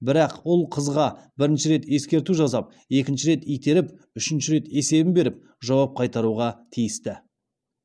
бірақ ұл қызға бірінші рет ескерту жасап екінші рет итеріп үшінші рет есебін беріп жауап қайтаруға тиісті